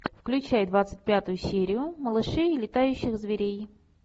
включай двадцать пятую серию малышей и летающих зверей